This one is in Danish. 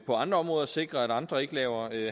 på andre områder at sikre at andre ikke laver